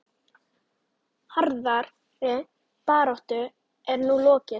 Harðri baráttu er nú lokið.